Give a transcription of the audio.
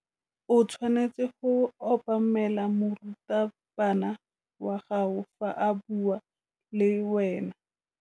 O tshwanetse go obamela morutabana wa gago fa a bua le wena.